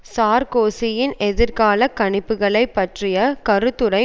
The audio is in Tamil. சார்க்கோசியின் எதிர்காலக் கணிப்புக்களை பற்றிய கருத்துரை